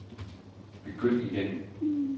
begynd igen